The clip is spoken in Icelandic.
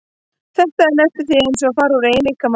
Þetta er næstum því eins og að fara út úr eigin líkama.